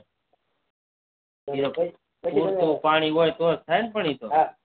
પુરતું પાણી હોય તો જ થાય ન એતો